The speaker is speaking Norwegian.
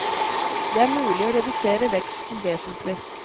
Det er mulig å redusere veksten vesentlig.